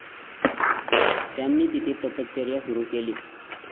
त्यांनी तिथे तपश्चर्या सुरु केली.